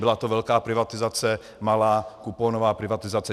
Byla to velká privatizace, malá kuponová privatizace.